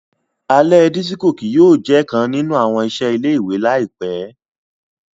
Alẹ disiko kii yóò jẹ kan ninu awọn iṣẹ ile-iwe laipẹ.